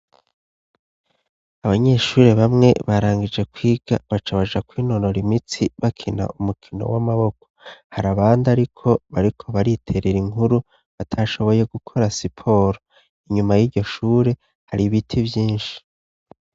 Abanyeshure bamwe barangije kwiga bacabaja ku inonora imitsi bakina umukino w'amaboko har abandi ariko bariko bariterera inkuru batashoboye gukora siporo inyuma y'iryo shure hari ibiti vyinshi.